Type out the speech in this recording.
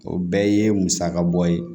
O bɛɛ ye musaka bɔ ye